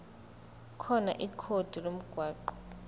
khona ikhodi lomgwaqo